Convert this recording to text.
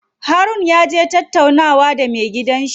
Harun yaje tattaunawa da me gidan shi.